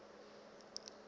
banka